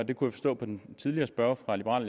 jeg kunne forstå på den tidligere spørger fra liberal